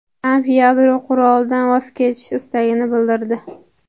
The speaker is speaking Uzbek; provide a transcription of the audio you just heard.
Tramp yadro qurolidan voz kechish istagini bildirdi.